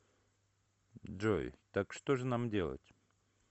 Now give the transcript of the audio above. джой так что же нам делать